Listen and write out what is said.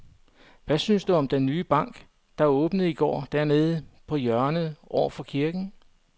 Hvad synes du om den nye bank, der åbnede i går dernede på hjørnet over for kirken?